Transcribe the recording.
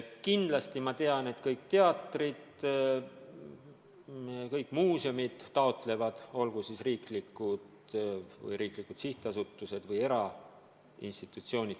Kindlasti kõik teatrid ja kõik muuseumid taotlevad toetust, olgu nad riiklikud sihtasutused või erainstitutsioonid.